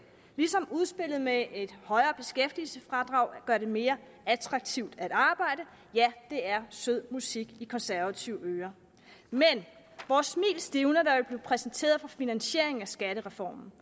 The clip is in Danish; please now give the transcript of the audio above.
ligesom udspillet med et højere beskæftigelsesfradrag gør det mere attraktivt at arbejde ja det er sød musik i konservative ører men vores smil stivnede da præsenteret for finansieringen af skattereformen